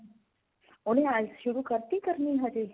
ਉਹਨੇ IELTS ਸ਼ੁਰੂ ਕਰਤੀ ਕਰਨੀ ਹਜੇ.